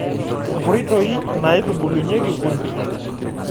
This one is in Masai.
Nkoitoi naitubulunyieki kundee.